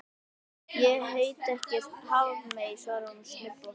Ég heiti ekki Hafmey, svarar hún snubbótt.